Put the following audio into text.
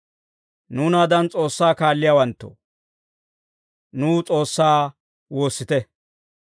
Nuunaadan S'oossaa kaalliyaawanttoo, nuw S'oossaa woossite.